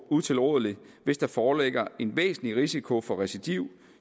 utilrådelig hvis der foreligger en væsentlig risiko for recidiv